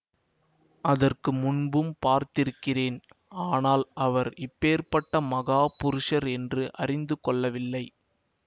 அதற்கு முன்பும் பார்த்திருக்கிறேன் ஆனால் அவர் இப்பேர்ப்பட்ட மகா புருஷர் என்று அறிந்து கொள்ளவில்லை